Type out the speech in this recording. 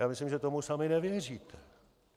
Já myslím, že tomu sami nevěříte.